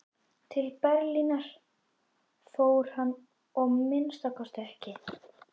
Til Berlínar fór hann að minnsta kosti ekki.